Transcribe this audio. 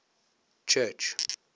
church